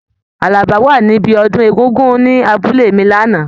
Àlàbá wa níbí ọdún Egungun ni abúlé mi l'ana.